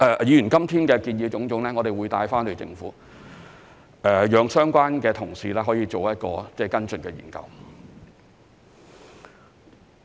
議員今天的種種建議，我們會帶回去，讓相關同事作跟進研究。